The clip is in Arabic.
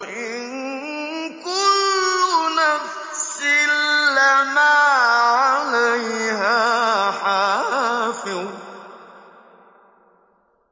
إِن كُلُّ نَفْسٍ لَّمَّا عَلَيْهَا حَافِظٌ